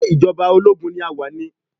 Ṣé ìjọba ológun ni a wà ni?